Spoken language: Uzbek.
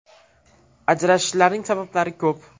Ajrashishlarning sabablari ko‘p.